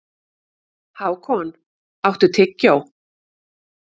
Hákon, áttu tyggjó?